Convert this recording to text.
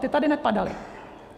Ty tady nepadaly.